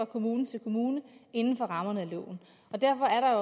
kommune til kommune inden for rammerne af loven og derfor er der